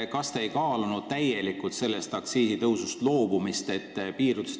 Kas te ei kaalunud aktsiisitõusust üldse loobumist?